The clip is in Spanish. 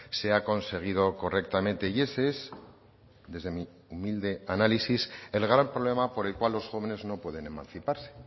se ha conseguido correctamente y ese es desde mi humilde análisis el gran problema por el cual los jóvenes no pueden emanciparse